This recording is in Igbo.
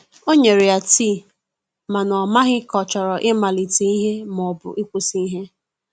o nyere ya tii, mana o maghi ka ochọrọ I malite ihe ma ọbụ ikwụsi ihe.